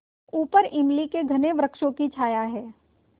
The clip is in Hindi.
ऊपर इमली के घने वृक्षों की छाया है